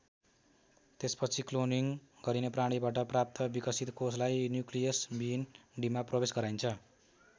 त्यसपछि क्लोनिङ गरिने प्राणीबाट प्राप्त विकसित कोषलाई न्युक्लियस विहीन डिम्बमा प्रवेश गराइन्छ।